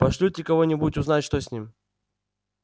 пошлют ли кого-нибудь узнать что с ним